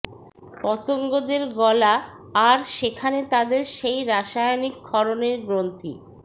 ওই পতঙ্গদের গলা আর সেখানে তাদের সেই রাসায়নিক ক্ষরণের গ্রন্থি